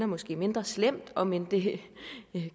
måske mindre slemt om end det